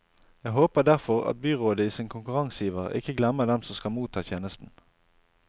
Jeg håper derfor at byrådet i sin konkurranseiver ikke glemmer dem som skal motta tjenesten.